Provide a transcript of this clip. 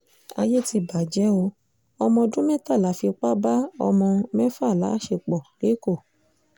àyè ti bàjẹ́ o ọ̀mọ̀ọ̀dún mẹ́tàlá fipá bá ọ̀mọ mẹ́fà láṣepọ̀ lẹ́kọ̀ọ́